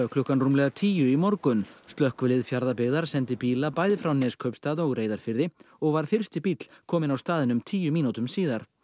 klukkan rúmlega tíu í morgun slökkvilið Fjarðabyggðar sendi bíla bæði frá Neskaupstað og Reyðarfirði og var fyrsti bíll kominn á staðinn um tíu mínútum síðar